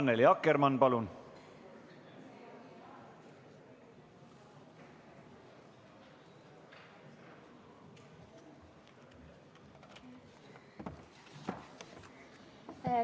Annely Akkermann, palun!